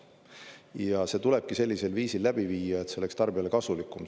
Ja see tulebki sellisel viisil läbi viia, et see oleks tarbijale kasulikum.